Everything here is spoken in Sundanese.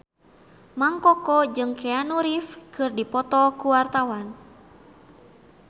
Mang Koko jeung Keanu Reeves keur dipoto ku wartawan